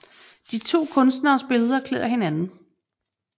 De to Kunstneres Billeder klæder hinanden